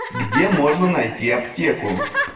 где можно найти аптеку